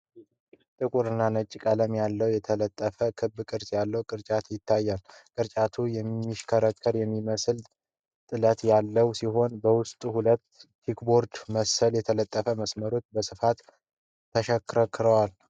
ጥቁር እና ነጭ ቀለም ያለው የተጠለፈ ክብ ቅርጽ ያለው ቅርጫት ይታያል። ቅርጫቱ የሚሽከረከር የሚመስል ጥለት ያለው ሲሆን፣ በውስጡ ሁለት በቼከርቦርድ መልክ የተጠለፉ መስመሮች በስፋት ይሽከረከራሉ።